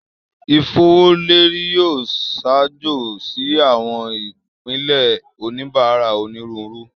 Ifowoleri yoo ṣaajo si awọn ipilẹ oníbárà onírúurú